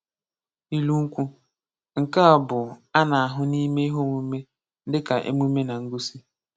Ilu Nkwu: Nke a bụ a na-ahụ n'ime ihe omume dịka emume na ngosi.